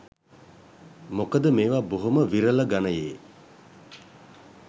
මොකද මේව බොහොම විරල ගණයේ